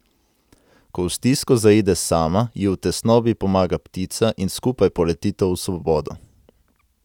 Ko v stisko zaide sama, ji v tesnobi pomaga ptica in skupaj poletita v svobodo.